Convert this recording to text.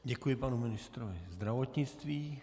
Děkuji panu ministrovi zdravotnictví.